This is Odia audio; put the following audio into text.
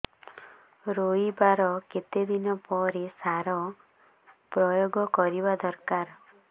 ରୋଈବା ର କେତେ ଦିନ ପରେ ସାର ପ୍ରୋୟାଗ କରିବା ଦରକାର